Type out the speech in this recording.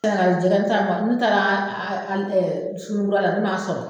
N taara jɛgɛ, n taara suguninkura la , ne m'a sɔrɔ.